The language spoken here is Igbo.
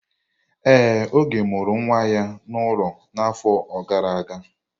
Ee, Oge mụrụ nwa ya n'ụlọ n'afọ gara aga.